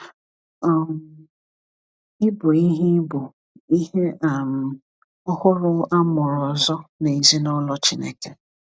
um Ị bụ ihe Ị bụ ihe um ọhụrụ a mụrụ ọzọ n’ezinụlọ Chineke.